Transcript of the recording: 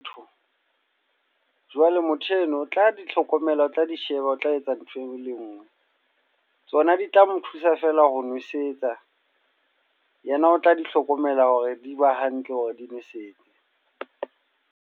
Jwale motho eno, o tla di hlokomela, o tla di sheba, o tla etsa ntho e nngwe le nngwe. Tsona di tla mo thusa fela ho nwesetsa. Yena o tla di hlokomela hore di ba hantle hore di nwesetse.